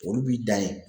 Olu b'i dan ye